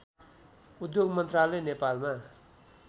उद्योग मन्त्रालय नेपालमा